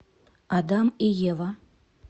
адам и ева